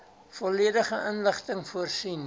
volledige inligting voorsien